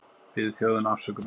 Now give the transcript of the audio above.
Biður þjóðina afsökunar